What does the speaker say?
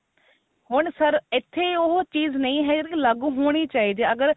ਹੁਣ ਸਿਰਫ ਇੱਥੇ ਉਹ ਚੀਜ ਨਹੀਂ ਹੈ ਲਾਗੂ ਹੋਣੀ ਚਾਹੀਦੀ ਹੈ ਅਗਰ